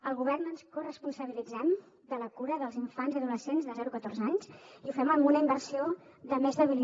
al govern ens corresponsabilitzem de la cura dels infants i adolescents de zero a catorze anys i ho fem amb una inversió de més de mil